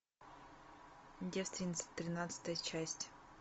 девственница тринадцатая часть